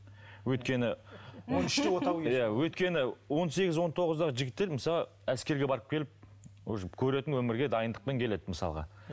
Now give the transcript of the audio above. өйткені иә өйткені он сегіз он тоғыздағы жігіттер мысалға әскерге барып келіп уже көретін өмірге дайындықпен келеді мысалға